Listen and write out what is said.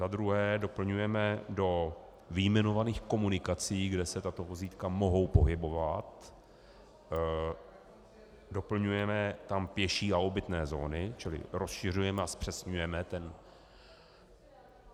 Za druhé doplňujeme do vyjmenovaných komunikací, kde se tato vozítka mohou pohybovat, doplňujeme tam pěší a obytné zóny, čili rozšiřujeme a zpřesňujeme ten...